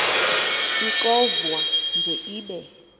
ixovwa nje ibe